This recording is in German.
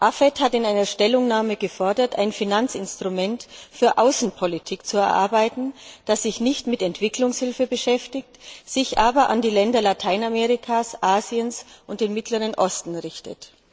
AFET hat in einer Stellungnahme gefordert, ein Finanzinstrument für Außenpolitik zu erarbeiten, das sich nicht mit Entwicklungshilfe beschäftigt, sich aber an die Länder Lateinamerikas, Asiens und den Mittleren Osten richtet.